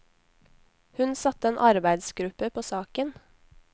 Hun satte en arbeidsgruppe på saken.